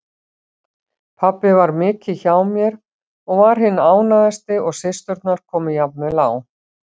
Pabbi var mikið hjá mér og var hinn ánægðasti og systurnar komu jafnvel á